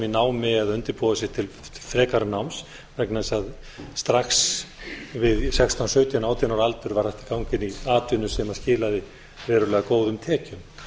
námi eða undirbúa sig til frekara náms vegna þess að strax við sextán sautján átján ára aldur var hægt að ganga inn í atvinnu sem skilaði verulega góðum tekjum